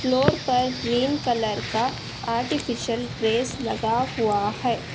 Floor पर green colour का artificial grass लगा हुआ है।